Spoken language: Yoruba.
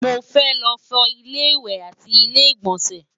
mọ fẹ ló fo ilé ìwé àti ilé igbọnsẹ